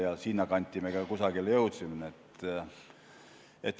Ja kusagile sinnakanti me ka jõudsime.